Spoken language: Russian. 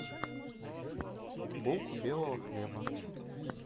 булку белого хлеба